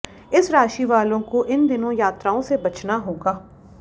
इस राशि वालों को इन दिनों यात्राओं से बचना होगा